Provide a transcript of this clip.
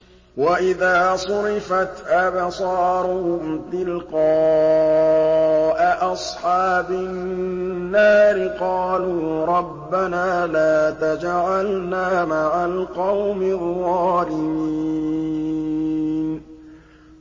۞ وَإِذَا صُرِفَتْ أَبْصَارُهُمْ تِلْقَاءَ أَصْحَابِ النَّارِ قَالُوا رَبَّنَا لَا تَجْعَلْنَا مَعَ الْقَوْمِ الظَّالِمِينَ